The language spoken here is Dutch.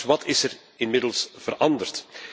Wat is er inmiddels veranderd?